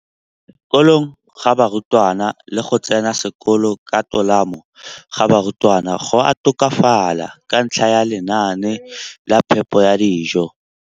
kolong ga barutwana le go tsena sekolo ka tolamo ga barutwana go a tokafala ka ntlha ya lenaane la phepo ya dijo.